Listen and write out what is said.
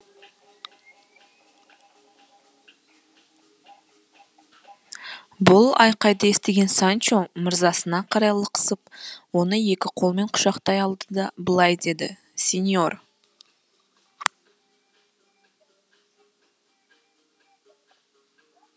бұл айқайды естіген санчо мырзасына қарай лықсып оны екі қолымен құшақтай алды да былай деді сеньор